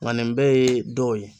Nga nin bɛɛ ye dɔw ye